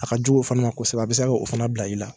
A ka jugu o fɛnɛ ma kɔsɛbɛ a be se k'o fɛnɛ bila i la